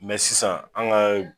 Mɛ sisan an ga